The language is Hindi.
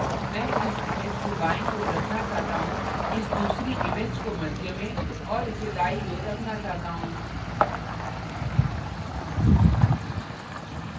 मैं इस image को बायीं ओर रखना चाहता हूँ इस दूसरी image को मध्य में और इसे दायीं ओर रखना चाहता हूँ